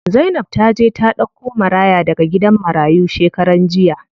Zainab taje ta ɗauko maraya daga gidan marayu shekaran jiya.